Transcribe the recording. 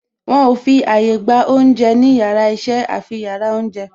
Wọn ò fi àyà gba oúnjẹ ní yàrá iṣẹ́ àfi yàrá oúnjẹ